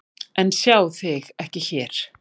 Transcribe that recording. En sjá þig ekki hér.